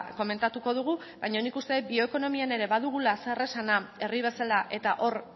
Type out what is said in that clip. komentatuko dugu baina nik uste dut bioekonomian ere badugula zeresana herri bezala eta hor